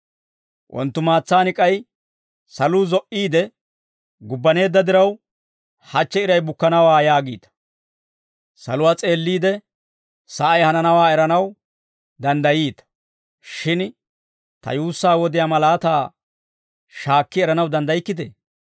wonttumaatsaan k'ay, ‹Saluu zo"iide gubbaneedda diraw, hachche iray bukkanawaa› yaagiita; saluwaa s'eelliide, sa'ay hananawaa eranaw danddayiita; shin ta yuussaa wodiyaa malaataa shaakki eranaw danddaykkitee?